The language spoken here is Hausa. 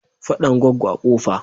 Faɗan Goggo a Kofa.